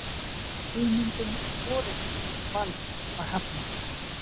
hugmyndum um forystu og vald var hafnað